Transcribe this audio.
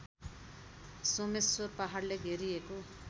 सोमेश्वर पहाडले घेरिएको